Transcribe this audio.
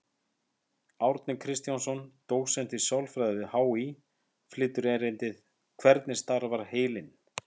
Árni Kristjánsson, dósent í sálfræði við HÍ, flytur erindið: Hvernig starfar heilinn?